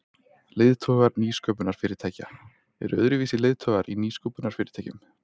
Leiðtogar nýsköpunarfyrirtækja Eru öðruvísi leiðtogar í nýsköpunarfyrirtækjum?